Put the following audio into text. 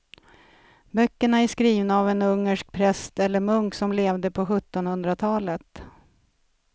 Böckerna är skrivna av en ungersk präst eller munk som levde på sjuttonhundratalet.